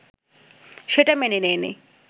সেটা মেনে নেয়নি